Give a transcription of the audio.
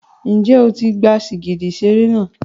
Ṣé o ti gba sìgìdì ìṣeré náà?